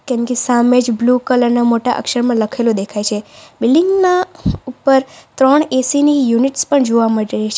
સામેજ blue colour ના મોટા અક્ષરમાં લખેલું દેખાય છે બિલ્ડીંગ ના ઉપર ત્રણ એ_સી ની યુનિટ્સ પણ જોવા મળે છે.